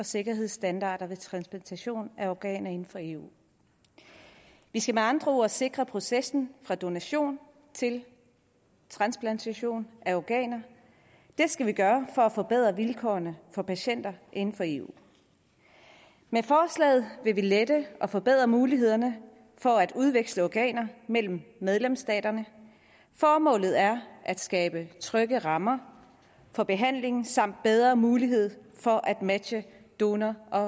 og sikkerhedsstandarderne ved transplantation af organer inden for eu vi skal med andre ord sikre processen fra donation til transplantation af organer det skal vi gøre for at forbedre vilkårene for patienter inden for eu med forslaget vil vi lette og forbedre mulighederne for at udveksle organer mellem medlemsstaterne formålet er at skabe trygge rammer for behandling samt bedre mulighed for at matche donor og